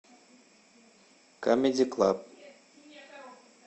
камеди клаб